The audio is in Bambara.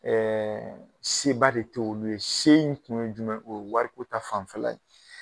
Ɛɛ seba de t'olu ye se in kun ye jumɛn o ye wariko ta fanfɛla ye